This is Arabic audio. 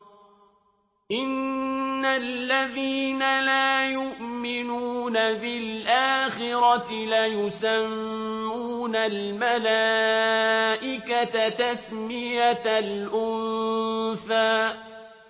إِنَّ الَّذِينَ لَا يُؤْمِنُونَ بِالْآخِرَةِ لَيُسَمُّونَ الْمَلَائِكَةَ تَسْمِيَةَ الْأُنثَىٰ